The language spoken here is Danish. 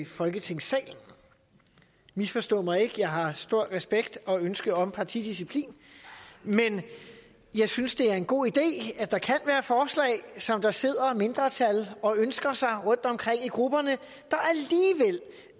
folketingssalen misforstå mig ikke jeg har stor respekt og ønske om partidisciplin men jeg synes det er en god idé at der kan være forslag som der sidder mindretal og ønsker sig rundtomkring i grupperne